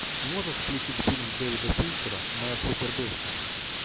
можешь включить фильм дэвида финчера моя супер бывшая